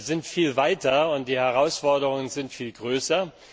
Wir sind viel weiter und die Herausforderungen sind viel größer.